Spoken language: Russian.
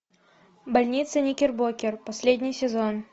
больница никербокер последний сезон